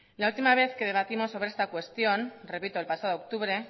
la última vez que debatimos sobre esta cuestión repito el pasado octubre